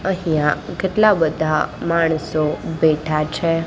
અહીંયા કેટલા બધા માણસો બેઠા છે.